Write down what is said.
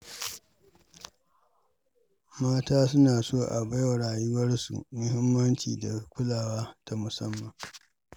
Mata suna so a bawa rayuwarsu muhimmanci da kulawa ta musamman.